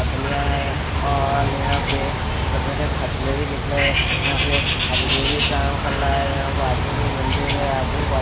पटलियाँ है और यहाँ पर छोटे छोटे पटले भी दिख रहे है यहाँ पे अद्वे भी काम कर रहा है यहाँ बाजू में बिल्डिंग है आजू बाजू --